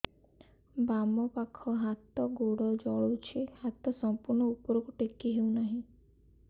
ବାମପାଖ ହାତ ଗୋଡ଼ ଜଳୁଛି ହାତ ସଂପୂର୍ଣ୍ଣ ଉପରକୁ ଟେକି ହେଉନାହିଁ